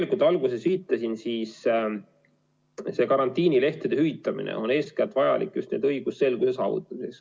Nagu ma alguses viitasin, nn karantiinilehtede hüvitamine on eeskätt vajalik just õigusselguse huvides.